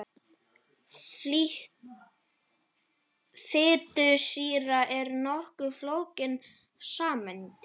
Fitusýra er nokkuð flókin sameind.